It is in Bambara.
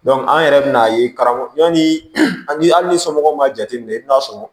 an yɛrɛ bɛ n'a ye karamɔgɔ yanni an ni somɔgɔw ma jateminɛ i bɛ n'a sɔrɔ